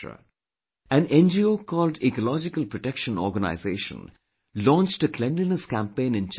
An NGO called Ecological Protection Organization launched a cleanliness campaign in Chandrapur Fort